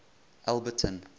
alberton